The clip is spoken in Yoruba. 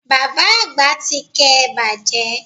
Bàbá Àgbà ti ké e bàjẹ́